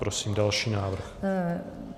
Prosím další návrh.